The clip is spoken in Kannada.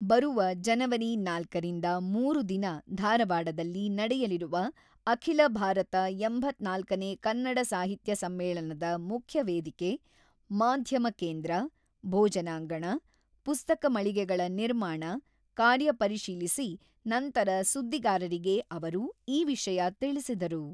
ಬರುವ ಜನವರಿ ನಾಲ್ಕ ರಿಂದ ಮೂರು ದಿನ ಧಾರವಾಡದಲ್ಲಿ ನಡೆಯಲಿರುವ ಅಖಿಲ ಭಾರತ ಎಂಬತ್ತ್ನಾಲ್ಕು ನೇ ಕನ್ನಡ ಸಾಹಿತ್ಯ ಸಮ್ಮೇಳನದ ಮುಖ್ಯ ವೇದಿಕೆ, ಮಾಧ್ಯಮ ಕೇಂದ್ರ, ಭೋಜನಾಂಗಣ, ಪುಸ್ತಕ ಮಳಿಗೆಗಳ ನಿರ್ಮಾಣ ಕಾರ್ಯ ಪರಿಶೀಲಿಸಿ ನಂತರ ಸುದ್ದಿಗಾರರಿಗೆ ಅವರು ಈ ವಿಷಯ ತಿಳಿಸಿದರು.